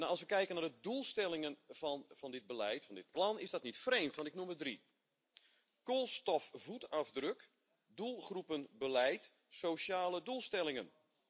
Als we kijken naar de doelstellingen van dit beleid, van dit plan, is dat niet vreemd. Ik noem er drie koolstofvoetafdruk, doelgroepenbeleid, sociale doelstellingen.